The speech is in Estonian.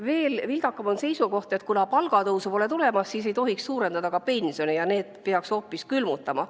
Veel vildakam on seisukoht, et kuna palgatõusu pole tulemas, siis ei tohiks suurendada ka pensioni ja peaks selle hoopis külmutama.